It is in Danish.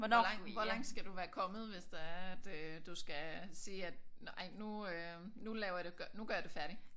Hvor langt hvor langt skal du være kommet hvis det er at øh du skal sige at ej nu øh nu laver jeg det nu gør jeg det færdigt?